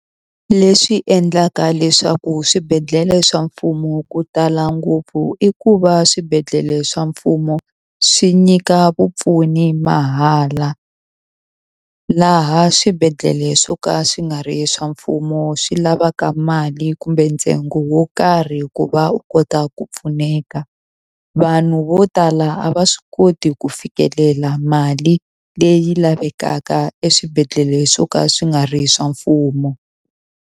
Leswi endlaka leswaku swibedhlele swa mfumo ku tala ngopfu i ku va swibedhlele swa mfumo, swi nyika vupfuni mahala. Laha swibedhlele swo ka swi nga ri swa mfumo swi lavaka mali kumbe ntsengo wo karhi ku va u kota ku pfuneka. Vanhu vo tala a va swi koti ku fikelela mali leyi lavekaka eswibedhlele swo ka swi nga ri swa mfumo.